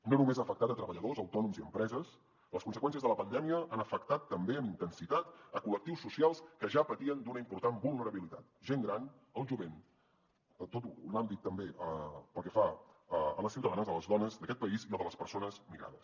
i no només ha afectat treballadors autònoms i empreses les conseqüències de la pandèmia han afectat també amb intensitat col·lectius socials que ja patien d’una important vulnerabilitat gent gran el jovent tot l’àmbit també pel que fa a les ciutadanes a les dones d’aquest país i al de les persones migrades